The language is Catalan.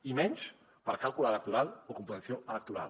i menys per càlcul electoral o competició electoral